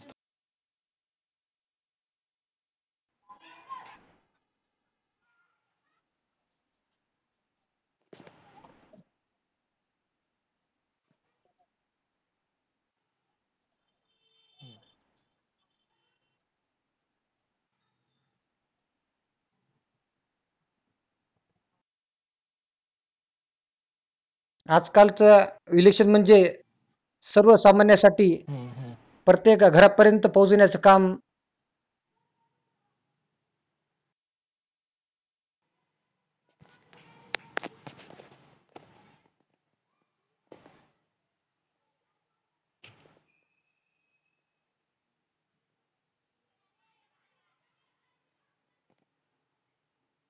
आज-कालचं election म्हणजे सर्व सामान्यासाठी प्रत्येक घर पर्यंत पोहोचण्याचं काम